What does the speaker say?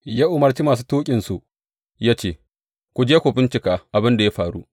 Ya umarci masu tuƙinsu ya ce, Ku je ku bincika abin da ya faru.